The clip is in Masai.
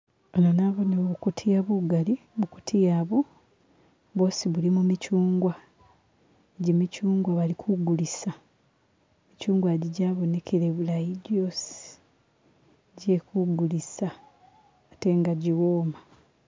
Eha nabonewo bukutiya bugali bukutiya bu, bwosi bulimo michunwa, egi michungwa bali kugulisa michunwa gi gyabonekele bulayi gyosi gyekugulisa atenga giwoma